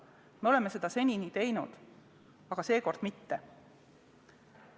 Me oleme seda senini teinud, aga seekord mitte.